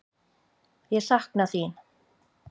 Ég sakna þín.